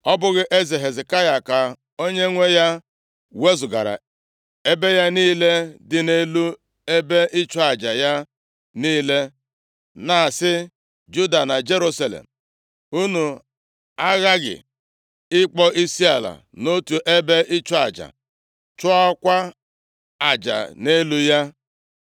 Ọ bụghị Hezekaya na onwe ya wezugara ebe ya niile dị elu na ebe ịchụ aja ya niile, na-asị Juda na Jerusalem, ‘Unu aghaghị ịkpọ isiala nʼotu ebe ịchụ aja, chụọkwa aja nʼelu ya’?